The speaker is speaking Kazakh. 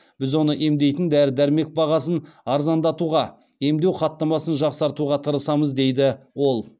біз оны емдейтін дәрі дәрмек бағасын арзандатуға емдеу хаттамасын жақсартуға тырысамыз дейді ол